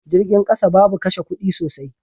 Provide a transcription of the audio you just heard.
Jirgin kasa babu kashe kudi sosai.